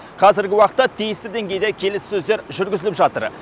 қазіргі уақытта тиісті деңгейде келіссөздер жүргізіліп жатыр